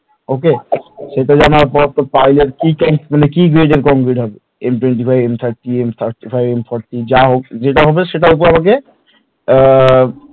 Okay সেটা জানার পর তোর pile এর মানে কি concrete হবে m twenty five m thirty m thirty five m forty যেটা হবে সেটার ওপর আমাকে